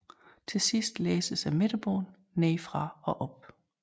Til sidst læses midterbåndet nedefra og op